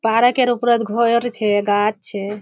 पारोकेर उपरोत घोर छे गाछ छे।